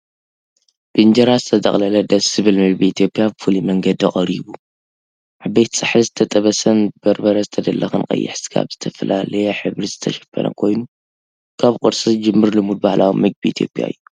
ብኢንጀራ ዝተጠቕለለ ደስ ዝብል ምግቢ ኢትዮጵያ ብፍሉይ መንገዲ ቀሪቡ። ዓበይቲ ጻሕሊ ዝተጠበሰን ብበርበረ ዝተለኽየን ቀይሕ ስጋ ብዝተፈላለየ ሕብሪ ዝተሸፈነ ኮይኑ፡ ካብ ቁርሲ ዝጅምር ልሙድ ባህላዊ መግቢ ኢትዮጵያ እዩ።